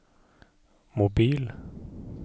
mobil